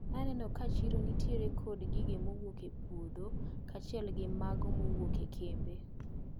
Naneno ka chiro nitiere kod gige mowuok e puodho kachiel gi mago mowuok e kembe.